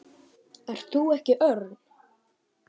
Ert þú ekki Örn?